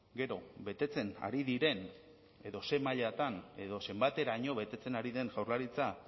gero betetzen ari diren edo zein mailatan edo zenbateraino betetzen ari den jaurlaritza